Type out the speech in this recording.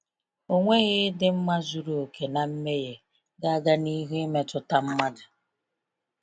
Ọnweghị ịdị mma zuru oke na mmehie ga-aga n’ihu imetụta mmadụ.